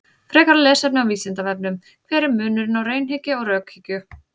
Frekara lesefni á Vísindavefnum: Hver er munurinn á raunhyggju og rökhyggju?